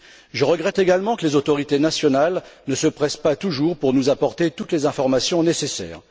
Je regrette également que les autorités nationales ne se pressent pas toujours pour nous apporter toutes les informations nécessaires.